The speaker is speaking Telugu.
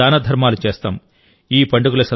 సేవదానధర్మాలు చేస్తాం